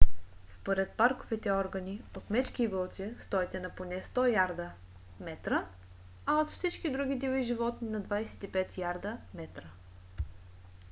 според парковите органи от мечки и вълци стойте на поне 100 ярда/метра а от всички други диви животни на 25 ярда/метра!